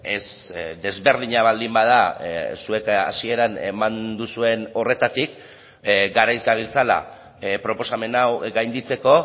ez desberdina baldin bada zuek hasieran eman duzuen horretatik garaiz gabiltzala proposamen hau gainditzeko